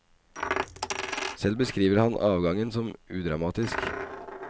Selv beskriver han avgangen som udramatisk.